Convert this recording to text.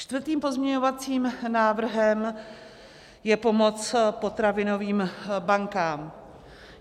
Čtvrtým pozměňovacím návrhem je pomoc potravinovým bankám.